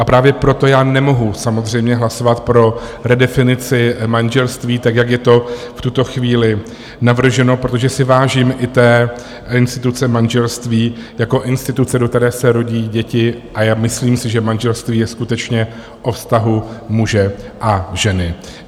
A právě proto já nemohu samozřejmě hlasovat pro redefinici manželství tak, jak je to v tuto chvíli navrženo, protože si vážím i té instituce manželství jako instituce, do které se rodí děti, a já si myslím, že manželství je skutečně o vztahu muže a ženy.